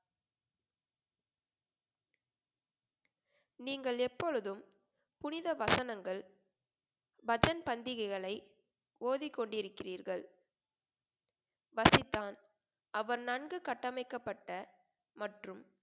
நீங்கள் எப்பொழுதும் புனித வசனங்கள் பண்டிகைகளை ஓதி கொண்டு இருக்கிறீர்கள் வசித்தான் அவன் நன்கு கட்டமைக்கப்பட்ட மற்றும்